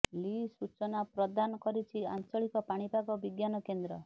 ଲି ସୂଚନା ପ୍ରଦାନ କରିଛି ଆଞ୍ଚଳିକ ପାଣିପାଗ ବିଜ୍ଞାନ କେନ୍ଦ୍ର